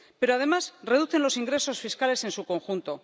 Pero, además, reducen los ingresos fiscales en su conjunto.